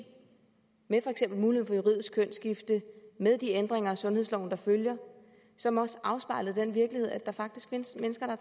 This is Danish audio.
med mulighed for juridisk kønsskifte med de ændringer af sundhedsloven der følger som også afspejler den virkelighed at der faktisk findes mennesker